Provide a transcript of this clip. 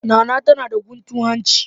Nana tana da guntun hanci.